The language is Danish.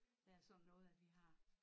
Der sådan noget at vi har